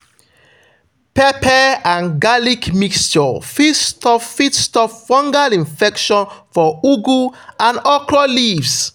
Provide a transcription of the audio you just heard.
pepper and garlic mixture fit stop fit stop fungal infection for ugu and okra leaves.